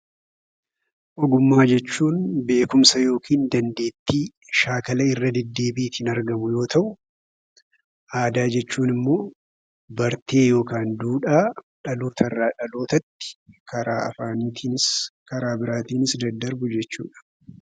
Ogummaa jechuun beekumsa yookiin dandeettii shaakala irra deddeebiitiin argamu yoo ta'u, aadaa jechuun immoo bartee yookiin duudhaa dhaloota irraa dhalootatti karaa afaaniitiin karaa biraatiinis daddarbu jechuudha.